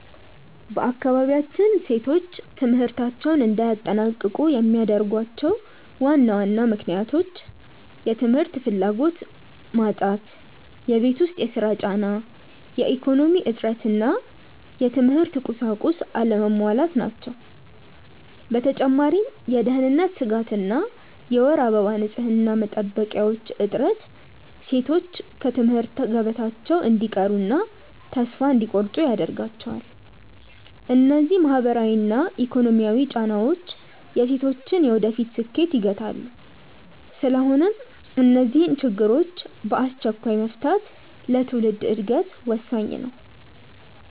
በአካባቢያችን ሴቶች ትምህርታቸውን እንዳያጠናቅቁ የሚያደርጓቸው ዋና ዋና ምክንያቶች፦ የ ትምህርት ፍላጎት መጣት የቤት ውስጥ ሥራ ጫና፣ የኢኮኖሚ እጥረት እና የትምህርት ቁሳቁስ አለመሟላት ናቸው። በተጨማሪም የደህንነት ስጋት እና የወር አበባ ንፅህና መጠበቂያዎች እጥረት ሴቶች ከትምህርት ገበታቸው እንዲቀሩና ተስፋ እንዲቆርጡ ያደርጋቸዋል። እነዚህ ማህበራዊና ኢኮኖሚያዊ ጫናዎች የሴቶችን የወደፊት ስኬት ይገታሉ። ስለሆነም እነዚህን ችግሮች በአስቸኳይ መፍታት ለትውልድ ዕድገት ወሳኝ ነው።